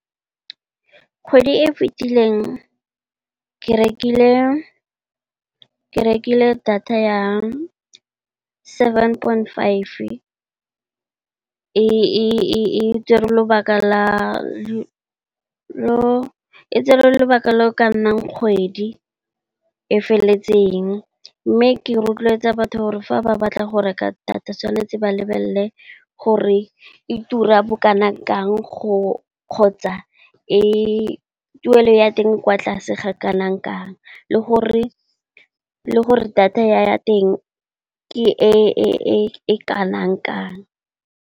Kgwedi e fitileng ke rekile data ya seven point five e tsere lobaka lo o ka nnang kgwedi e feleletseng. Mme, ke rotloetsa batho gore fa ba batla go reka data, tshwanetse ba lebelele gore e tura bokanang kang kgotsa, tuelo ya teng e kwa tlase ga kanang kang, le gore data ya teng ke e kanang kang.